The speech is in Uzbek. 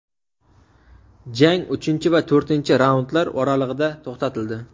Jang uchinchi va to‘rtinchi raundlar oralig‘ida to‘xtatildi.